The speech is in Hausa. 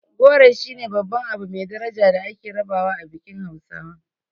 Goro shine babban abu mai daraja da ake rabawa a bikin hausawa.